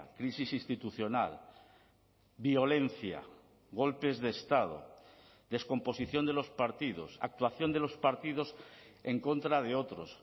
crisis institucional violencia golpes de estado descomposición de los partidos actuación de los partidos en contra de otros